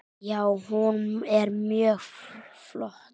Já, hún er mjög flott.